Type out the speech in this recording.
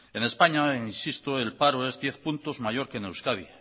en españa insisto el paro es diez puntos mayor que en euskadi